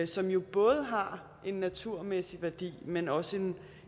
som jo både har en naturmæssig værdi men også